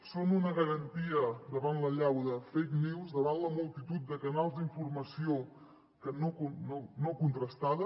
són una garantia davant l’allau de fake news davant la multitud de canals d’informació no contrastada